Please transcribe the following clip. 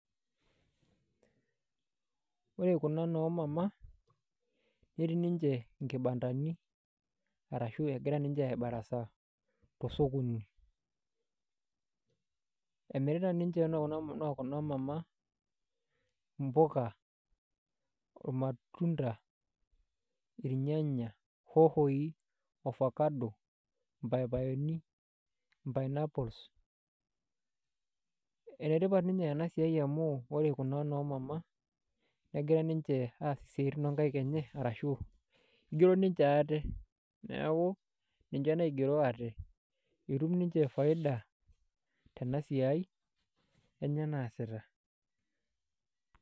Ore kuna noo mama, netii ninche inkibandani, arashu egira ninche ai barasaa tosokoni. Emirita ninche noo kuna mama mpuka, irmatunda, irnyanya, hohoi, ofakado, mpayapayoni, pineapples. Enetipat ninye enasiai amu, ore kuna noo mama, negira ninche aas isiaitin onkaik enye, arashu igero ninche aate. Neeku ninche naigero aate. Etum ninche faida tenasiai, enye naasita.